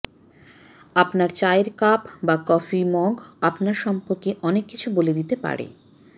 আপনার চায়ের কাপ বা কফি মগ আপনার সম্পর্কে অনেক কিছু বলে দিতে পারে